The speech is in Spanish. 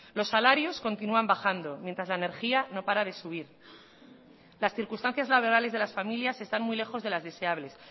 los salarios continúan bajando mientras la energía no para de subir las circunstancias laborales de las familias están muy lejos de las deseables